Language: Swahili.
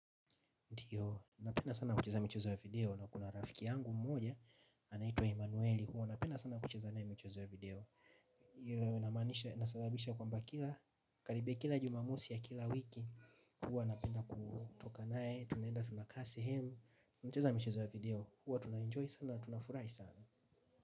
Ndio, napenda sana kucheza michezo ya video na kuna rafiki yangu mmoja anaitwa Emanueli huwa napenda sana kucheza naye michezo ya video. Hilo inamanisha, inasababisha kwamba kila karibia kila Jumamosi ya kila wiki huwa napenda kutoka naye tunaenda tunakaa sehemu tunacheza michezo ya video, huwa tuna enjoy sana na tunafurahi sana.